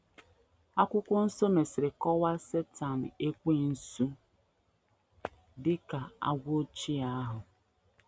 Akwụkwọ Nsọ mesịrị kọwaa Setan Ekwensu dị ka “ agwọ ochie ahụ. ”